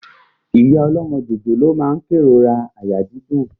Ìyá ọlọ́mọ jòjòló náà n kérora àyà dídùn